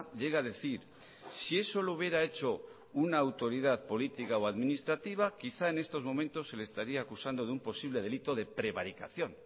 llega a decir si eso lo hubiera hecho una autoridad política o administrativa quizá en estos momentos se le estaría acusando de un posible de delito de prevaricación